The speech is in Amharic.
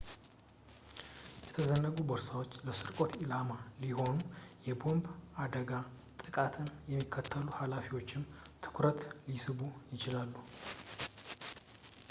የተዘነጉ ቦርሳዎች ለስርቆት ኢላማ ሲሆኑ የቦምብ አደጋ ጥቃትን የሚከታተሉ ሀላፊዎችንም ትኩረት ሊስቡ ይችላሉ